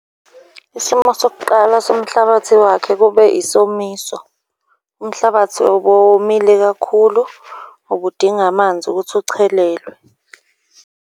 Isimo sokuqala somhlabathi wakhe kube isomiso, umhlabathi ubuwomile kakhulu, ubudinga amanzi ukuthi uchelelwe.